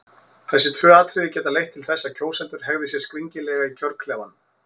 Þessi tvö atriði geta leitt til þess að kjósendur hegði sér skringilega í kjörklefanum.